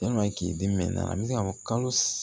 Yalima k'i den mɛn a bɛ se ka kalo